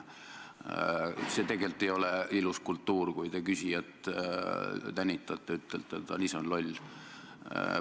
See tegelikult ei ole ilus, kui te küsijat tänitate, ütlete, et ta ise on loll.